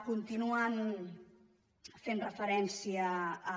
continuen fent referència a